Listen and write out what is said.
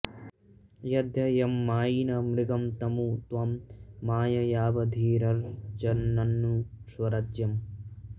यद्ध॒ त्यं मा॒यिनं॑ मृ॒गं तमु॒ त्वं मा॒यया॑वधी॒रर्च॒न्ननु॑ स्व॒राज्य॑म्